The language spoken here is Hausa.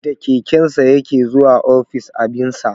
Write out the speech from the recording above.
Da kekensa ya ke zuwa office abinsa